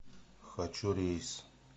хочу рейс